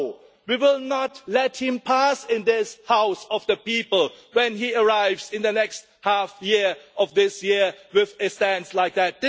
No, we will not let him pass into this House of the People when he arrives in the second half of this year with a stance like that!